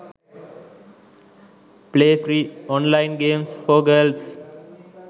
play free online games for girls